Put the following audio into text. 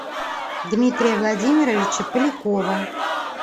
дмитрия владимировича полякова